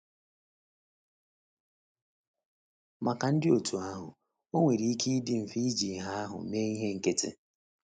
Maka ndị dị otú ahụ, ọ nwere ike ịdị mfe iji ìhè ahụ mee ihe nkịtị.